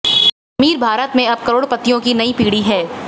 अमीर भारत में अब करोड़पतियों की नई पीढ़ी है